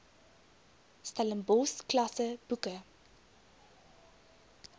stellenbosch klasse boeke